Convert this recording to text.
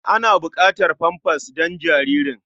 Ana buƙatar famfas don jaririn.